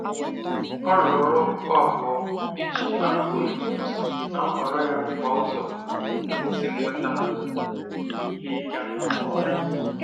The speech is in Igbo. Ọ rụrụ ọrụ okpukpu abụọ iji abụọ iji gosi na nhọrọ ya bụkwa ụzọ isi nweta ihe ịga nke ọma.